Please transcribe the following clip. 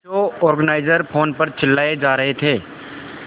show organiser phone पर चिल्लाए जा रहे थे